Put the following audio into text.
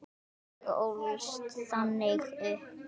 Ég ólst þannig upp.